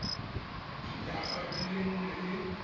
dinyaga di le nne le